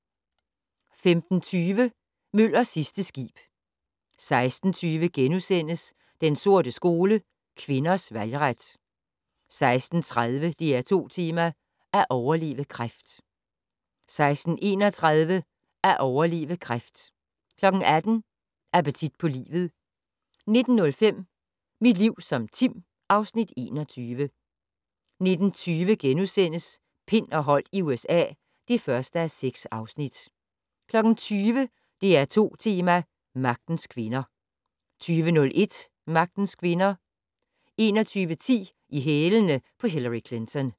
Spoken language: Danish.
15:20: Møllers sidste skib 16:20: Den sorte skole: Kvinders valgret * 16:30: DR2 Tema: At overleve kræft 16:31: At overleve kræft 18:00: Appetit på livet 19:05: Mit liv som Tim (Afs. 21) 19:20: Pind og Holdt i USA (1:6)* 20:00: DR2 Tema: Magtens Kvinder 20:01: Magtens kvinder 21:10: I hælene på Hillary Clinton